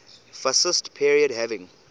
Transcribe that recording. fascist period having